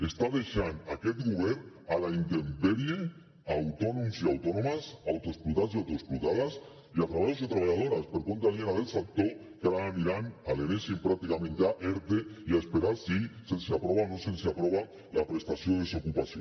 està deixant aquest govern a la intempèrie autònoms i autònomes autoexplotats i autoexplotades i treballadors i treballadores per compte aliena del sector que ara aniran a l’enèsim pràcticament ja erte i a esperar si se’ls aprova o no se’ls aprova la prestació de desocupació